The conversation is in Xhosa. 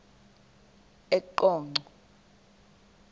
eqonco